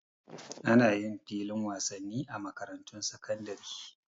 Ana yin filin wasanni a makarantun sakandare